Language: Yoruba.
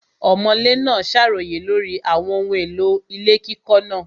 Ọ̀mọ̀lé náà ṣàròyé lórí àwọn ohun èlò ilé kíkọ́ náà.